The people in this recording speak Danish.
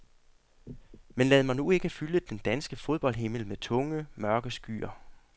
Men lad mig nu ikke fylde den danske fodboldhimmel med tunge, mørke skyer.